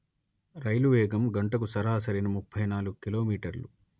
రైలు వేగం గంటకు సరాసరిన ముప్పై నాలుగు కిలో మీటర్లు